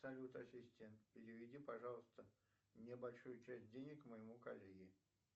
салют ассистент переведи пожалуйста небольшую часть денег моему коллеге